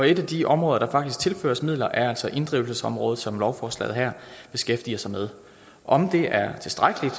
et af de områder der faktisk tilføres midler er altså inddrivelsesområdet som lovforslaget her beskæftiger sig med om det er tilstrækkeligt